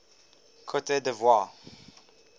cote d ivoire